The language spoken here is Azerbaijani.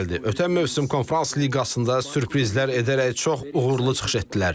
Ötən mövsüm Konfrans Liqasında sürprizlər edərək çox uğurlu çıxış etdilər.